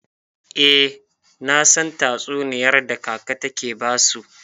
Eh, nasan tatsuniyar da kaka take basu.